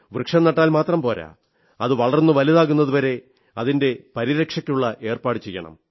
വൃക്ഷം നട്ടാൽ മാത്രം പോരാ അത് വളർന്നു വലുതാകുന്നതു വരെ അതിന്റെ പരിരക്ഷയ്ക്കുള്ള ഏർപ്പാടും ചെയ്യണം